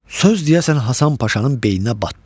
Söz deyəsən Hasan Paşanın beyninə batdı.